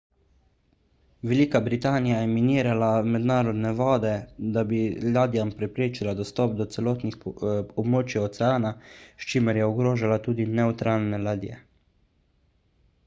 velika britanija je minirala mednarodne vode da bi ladjam preprečila dostop do celotnih območij oceana s čimer je ogrožala tudi nevtralne ladje